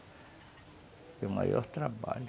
Foi o maior trabalho.